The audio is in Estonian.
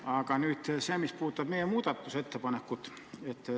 Aga nüüd see, mis puudutab meie muudatusettepanekut.